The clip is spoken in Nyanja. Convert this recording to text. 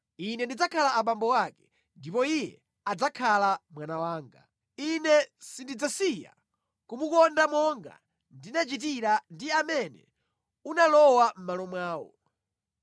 Ine ndidzakhala abambo ake, ndipo iye adzakhala mwana wanga. Ine sindidzasiya kumukonda monga ndinachitira ndi amene unalowa mʼmalo mwawo.